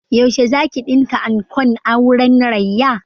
Yaushe zaki ɗinka ankon auren Rayya?